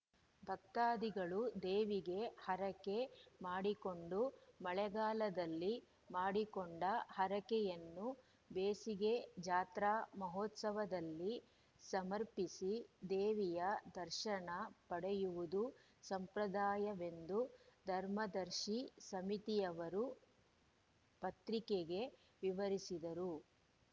ಭಕ್ತಾದಿಗಳು ದೇವಿಗೆ ಹರಕೆ ಮಾಡಿಕೊಂಡು ಮಳೆಗಾಲದಲ್ಲಿ ಮಾಡಿಕೊಂಡ ಹರಕೆಯನ್ನು ಬೇಸಿಗೆ ಜಾತ್ರಾ ಮಹೋತ್ಸವದಲ್ಲಿ ಸಮರ್ಪಿಸಿ ದೇವಿಯ ದರ್ಶನ ಪಡೆಯುವುದು ಸಂಪ್ರದಾಯವೆಂದು ಧರ್ಮದರ್ಶಿ ಸಮಿತಿಯವರು ಪತ್ರಿಕೆಗೆ ವಿವರಿಸಿದರು